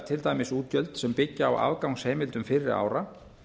til dæmis útgjöldum sem byggja á afgangsheimildum fyrri ára